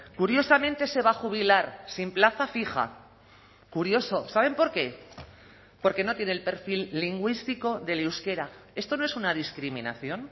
curiosamente se va a jubilar sin plaza fija curioso saben por qué porque no tiene el perfil lingüístico del euskera esto no es una discriminación